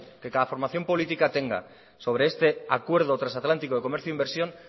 que cada formación política tenga sobre este acuerdo transatlántico de comercio e inversión